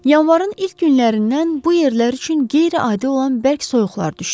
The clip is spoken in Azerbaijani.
Yanvarın ilk günlərindən bu yerlər üçün qeyri-adi olan bərk soyuqlar düşdü.